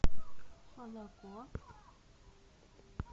молоко